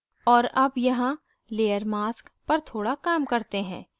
और अब यहाँ layer mask पर थोड़ा काम करते हैं